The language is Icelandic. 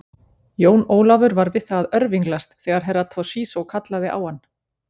Jón Ólafur var við það að örvinglast þegar Herra Toshizo kallaði á hann.